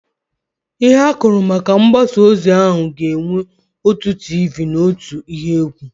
Ịhe akụrụ maka mgbasa ozi ahụ ga-enwe otu tiivii na ihe otu ihe égwú.